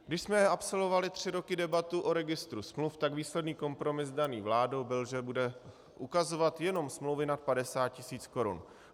Když jsme absolvovali tři roky debatu o registru smluv, tak výsledný kompromis daný vládou byl, že bude ukazovat jenom smlouvy nad 50 tisíc korun.